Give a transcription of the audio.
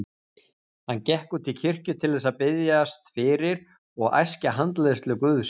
Hann gekk út í kirkju til þess að biðjast fyrir og æskja handleiðslu Guðs.